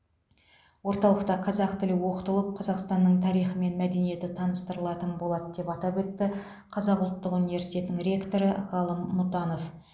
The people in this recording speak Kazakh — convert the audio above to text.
орталықта қазақ тілі оқытылып қазақстанның тарихы мен мәдениеті таныстырылатын болады деп атап өтті қазақ ұлттық университетінің ректоры ғалым мұтанов